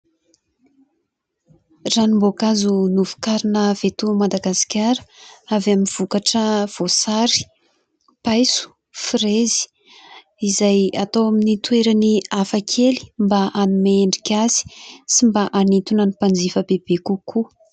Ranom-boakazo novokarina avy eto Madagasikara avy amin'ny vokatra voasary, paiso, frezy izay atao amin'ny toerany hafakely mba hanome endrika azy sy mba hanintona ny mpanjifa bebe kokoa.